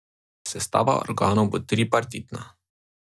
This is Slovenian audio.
Sestava organov bo tripartitna.